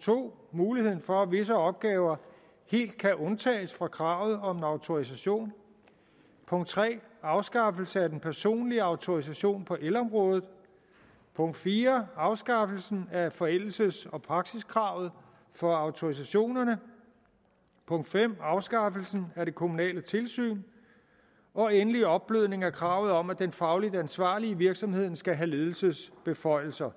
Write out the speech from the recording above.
2 muligheden for at visse opgaver helt kan undtages fra kravet om en autorisation 3 afskaffelsen af den personlige autorisation på elområdet 4 afskaffelsen af forældelses og praksiskravet for autorisationerne 5 afskaffelsen af det kommunale tilsyn og endelig er der opblødningen af kravet om at den fagligt ansvarlige i virksomheden skal have ledelsesbeføjelser